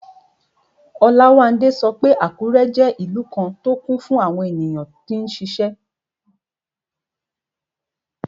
Olawande sọ pé Àkúrẹ́ jẹ́ ìlú kan tó kún fún àwọn tó n ṣiṣẹ́